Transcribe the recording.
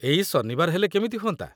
ଏଇ ଶନିବାର ହେଲେ କେମିତି ହୁଅନ୍ତା?